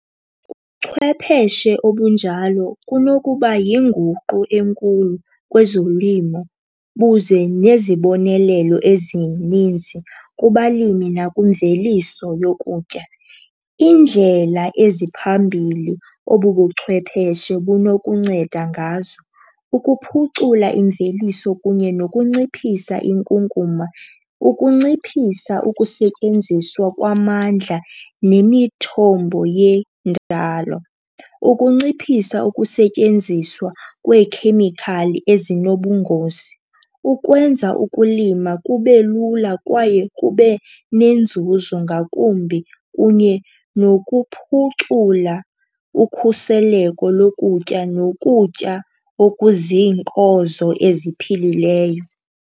Ubuchwepeshe obunjalo kunokuba yinguqu enkulu kwezolimo buze nezibonelelo ezininzi kubalimi nakwimveliso yokutya. Iindlela eziphambili obu buchwepheshe bunokuncenda ngazo kukuphucula imveliso kunye nokunciphisa inkunkuma, ukunciphisa ukusetyenziswa kwamandla nemithombo yendalo, ukunciphisa ukusetyenziswa kweekhemikhali ezinobungozi. Ukwenza ukulima kube lula kwaye kube nenzuzo ngakumbi kunye nokuphucula ukhuseleko lokutya nokutya okuziinkozo eziphilileyo.